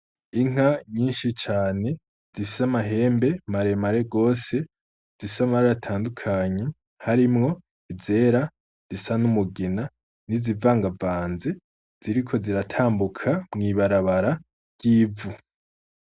Inka nyinshi cane zifise amahembe maremare gose, zifise amabara atandukanye. Harimwo izera, izisa n'umugina, n'izivangavanze, ziriko ziratambuka mw'ibarabara ry'ivu.